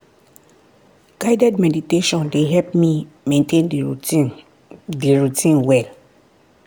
guided meditation dey help me maintain the routine the routine well.